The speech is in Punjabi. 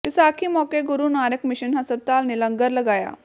ਵਿਸਾਖੀ ਮੌਕੇ ਗੁਰੂ ਨਾਨਕ ਮਿਸ਼ਨ ਹਸਪਤਾਲ ਨੇ ਲੰਗਰ ਲਗਾਇਆ